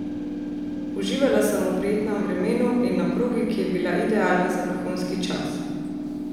Uživala sem v prijetnem vremenu in na progi, ki je bila idealna za vrhunski čas.